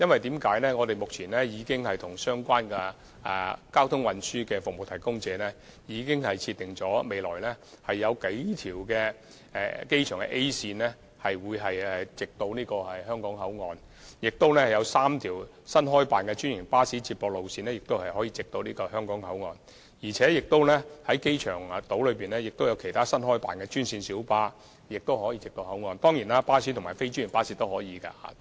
當局目前已經與相關交通運輸服務提供者，設定了數條未來的機場 A 線巴士往來香港口岸，亦有3條新開辦的專營巴士接駁路線可以往來香港口岸，機場島亦有其他新開辦的專線小巴往來口岸，巴士及非專營巴士當然也可以往來口岸。